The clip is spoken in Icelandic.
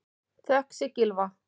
Þökk sé Gylfa